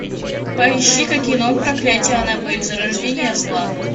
поищи ка кино проклятие аннабель зарождение зла